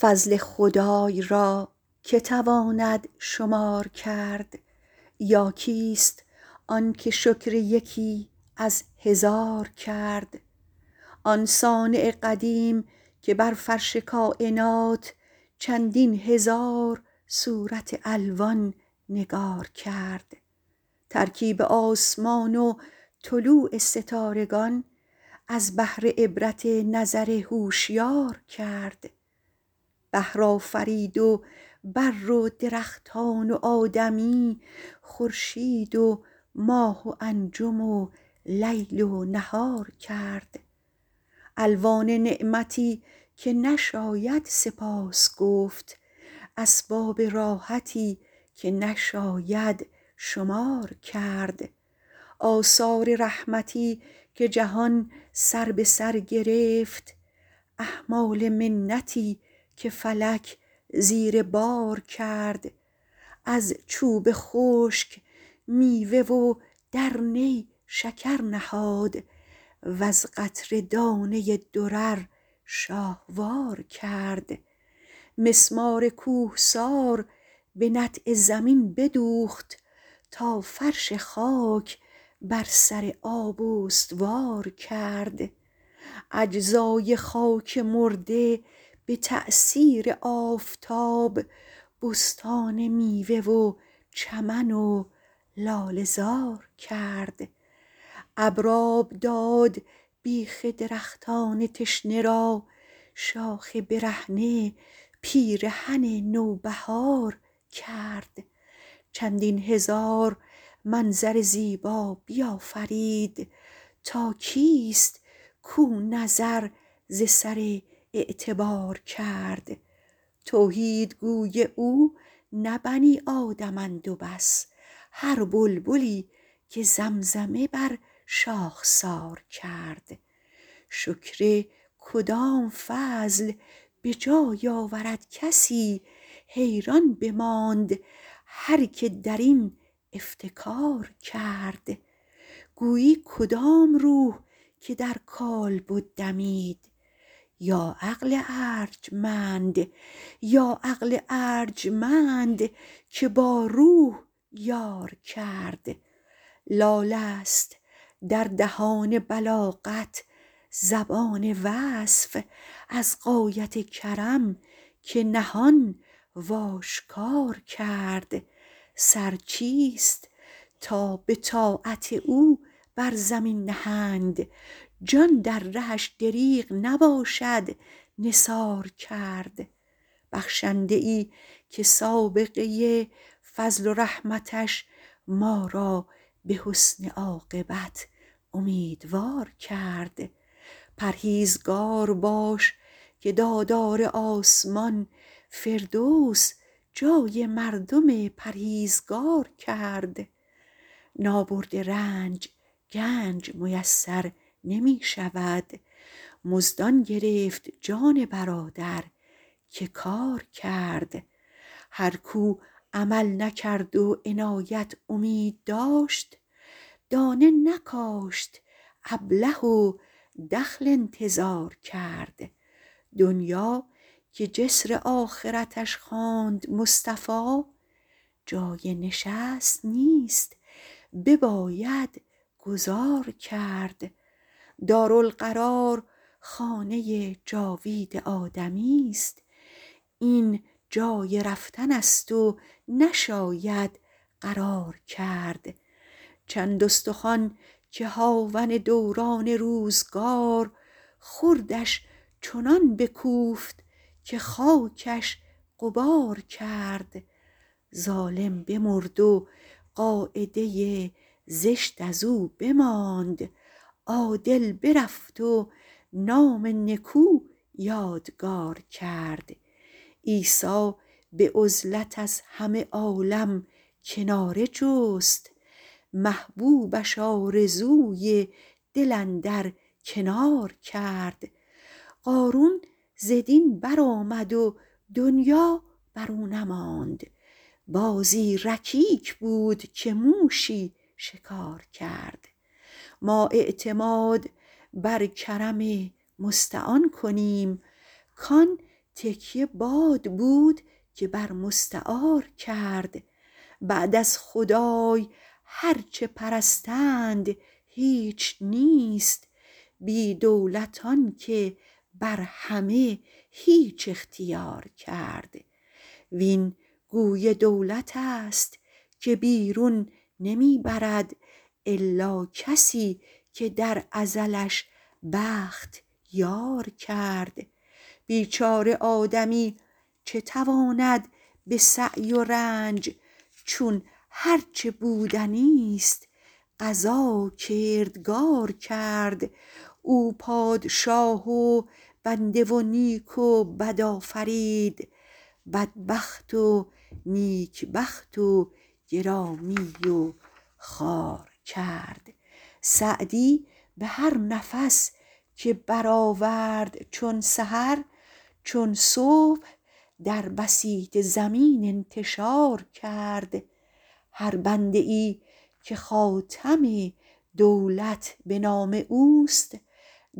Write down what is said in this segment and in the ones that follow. فضل خدای را که تواند شمار کرد یا کیست آنکه شکر یکی از هزار کرد آن صانع قدیم که بر فرش کاینات چندین هزار صورت الوان نگار کرد ترکیب آسمان و طلوع ستارگان از بهر عبرت نظر هوشیار کرد بحر آفرید و بر و درختان و آدمی خورشید و ماه و انجم و لیل و نهار کرد الوان نعمتی که نشاید سپاس گفت اسباب راحتی که نشاید شمار کرد آثار رحمتی که جهان سر به سر گرفت احمال منتی که فلک زیر بار کرد از چوب خشک میوه و در نی شکر نهاد وز قطره دانه ای درر شاهوار کرد مسمار کوهسار به نطع زمین بدوخت تا فرش خاک بر سر آب استوار کرد اجزای خاک مرده به تأثیر آفتاب بستان میوه و چمن و لاله زار کرد این آب داد بیخ درختان تشنه را شاخ برهنه پیرهن نوبهار کرد چندین هزار منظر زیبا بیافرید تا کیست کو نظر ز سر اعتبار کرد توحیدگوی او نه بنی آدمند و بس هر بلبلی که زمزمه بر شاخسار کرد شکر کدام فضل به جای آورد کسی حیران بماند هر که درین افتکار کرد گویی کدام روح که در کالبد دمید یا عقل ارجمند که با روح یار کرد لالست در دهان بلاغت زبان وصف از غایت کرم که نهان و آشکار کرد سر چیست تا به طاعت او بر زمین نهند جان در رهش دریغ نباشد نثار کرد بخشنده ای که سابقه فضل و رحمتش ما را به حسن عاقبت امیدوار کرد پرهیزگار باش که دادار آسمان فردوس جای مردم پرهیزگار کرد نابرده رنج گنج میسر نمی شود مزد آن گرفت جان برادر که کار کرد هر کو عمل نکرد و عنایت امید داشت دانه نکاشت ابله و دخل انتظار کرد دنیا که جسر آخرتش خواند مصطفی جای نشست نیست بباید گذار کرد دارالقرار خانه جاوید آدمیست این جای رفتنست و نشاید قرار کرد چند استخوان که هاون دوران روزگار خردش چنان بکوفت که خاکش غبار کرد ظالم بمرد و قاعده زشت از او بماند عادل برفت و نام نکو یادگار کرد عیسی به عزلت از همه عالم کناره جست محبوبش آرزوی دل اندر کنار کرد قارون ز دین برآمد و دنیا برو نماند بازی رکیک بود که موشی شکار کرد ما اعتماد بر کرم مستعان کنیم کان تکیه باد بود که بر مستعار کرد بعد از خدای هرچه پرستند هیچ نیست بی دولت آنکه بر همه هیچ اختیار کرد وین گوی دولتست که بیرون نمی برد الا کسی که در ازلش بخت یار کرد بیچاره آدمی چه تواند به سعی و رنج چون هرچه بودنیست قضا کردگار کرد او پادشاه و بنده و نیک و بد آفرید بدبخت و نیک بخت و گرامی و خوار کرد سعدی به هر نفس که برآورد چون سحر چون صبح در بسیط زمین انتشار کرد هر بنده ای که خاتم دولت به نام اوست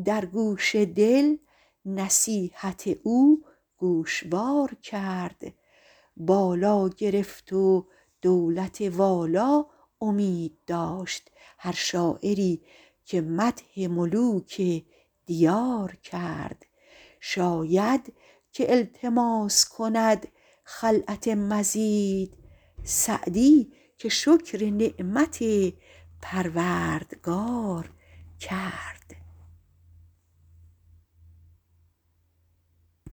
در گوش دل نصیحت او گوشوار کرد بالا گرفت و دولت والا امید داشت هر شاعری که مدح ملوک دیار کرد شاید که التماس کند خلعت مزید سعدی که شکر نعمت پروردگار کرد